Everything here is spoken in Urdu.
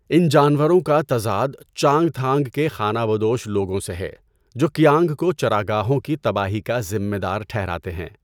ان جانوروں کا تضاد، چانگتھانگ کے خانہ بدوش لوگوں سے ہے، جو کیانگ کو چراگاہوں کی تباہی کا ذمہ دار ٹھہراتے ہیں۔